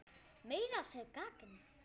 Meira að segja gagn.